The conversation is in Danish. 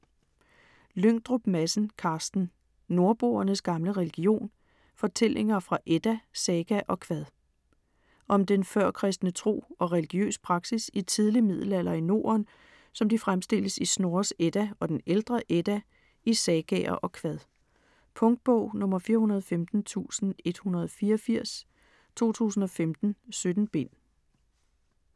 Lyngdrup Madsen, Carsten: Nordboernes gamle religion: fortællinger fra edda, saga og kvad Om den førkristne tro og religiøs praksis i tidlig middelalder i Norden, som de fremstilles i Snorres Edda og den ældre Edda, i sagaer og kvad. Punktbog 415184 2015. 17 bind.